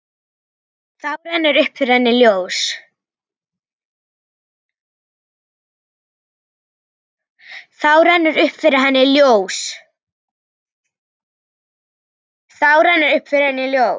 Þá rennur upp fyrir henni ljós.